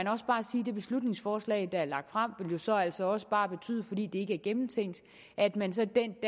det beslutningsforslag der er fremsat jo så altså også bare vil betyde fordi det ikke er gennemtænkt at man så den